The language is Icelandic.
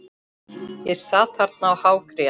Ég sat þarna og hágrét.